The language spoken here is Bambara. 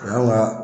O y'anw ka